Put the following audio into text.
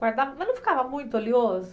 Guardava, mas não ficava muito oleoso?